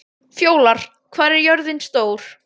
Fjólar, hvað er jörðin stór?